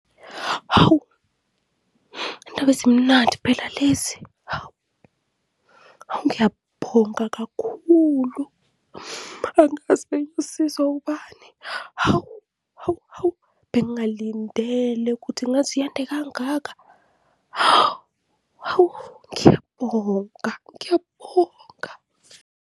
Hawu! Izindaba ezimnandi phela lezi, hawu. Hawu ngiyabonga kakhulu, angazi bengiyosizwa ubani. Hawu, hawu, hawu bengingalindele ukuthi ingaze iyande kangaka, ha, hawu ngiyabonga, ngiyabonga.